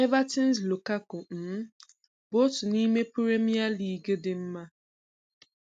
Everton's Lukaku um bụ otu n'ime Puremie Ligi dị mma.